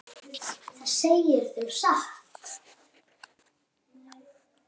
Það segirðu satt.